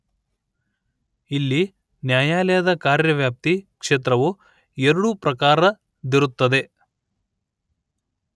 ಇಲ್ಲಿ ನ್ಯಾಯಾಲಯದ ಕಾರ್ಯವ್ಯಾಪ್ತಿ ಕ್ಷೇತ್ರವು ಎರಡು ಪ್ರಕಾರದ್ದಿರುತ್ತದೆ